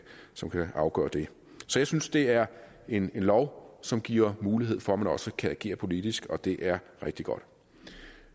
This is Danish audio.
som kan afgøre det så jeg synes det er en lov som giver mulighed for at man også kan agere politisk og det er rigtig godt